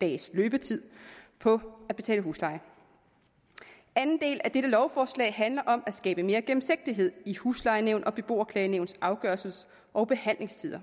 dages løbetid på at betale husleje anden del af dette lovforslag handler om at skabe mere gennemsigtighed i huslejenævns og beboerklagenævns afgørelses og behandlingstider